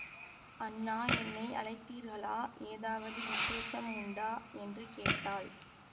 அண்ணா என்னை அழைத்தீர்களா ஏதாவது விஷேசம் உண்டா என்று கேட்டாள்